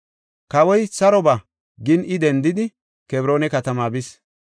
Kawoy, “Saro ba” gin, I dendidi Kebroona katamaa bis.